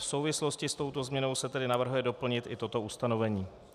V souvislosti s touto změnou se tedy navrhuje doplnit i toto ustanovení.